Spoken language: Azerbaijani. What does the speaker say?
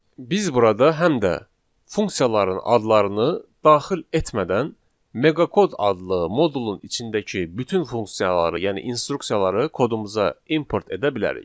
Biz burada həm də funksiyaların adlarını daxil etmədən meqa kod adlı modulun içindəki bütün funksiyaları, yəni instruksiyaları kodumuza import edə bilərik.